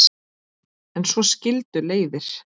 En svo skildu leiðir.